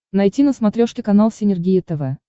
найти на смотрешке канал синергия тв